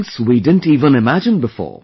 Goals we didn't even imagine before